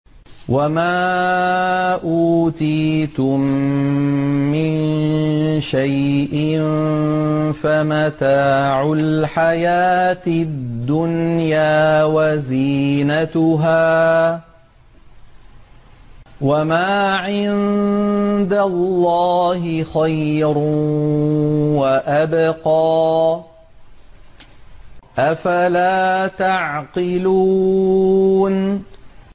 وَمَا أُوتِيتُم مِّن شَيْءٍ فَمَتَاعُ الْحَيَاةِ الدُّنْيَا وَزِينَتُهَا ۚ وَمَا عِندَ اللَّهِ خَيْرٌ وَأَبْقَىٰ ۚ أَفَلَا تَعْقِلُونَ